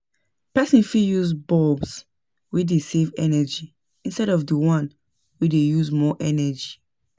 Person fit use bulbs wey dey save energy instead of di one wey dey use more energy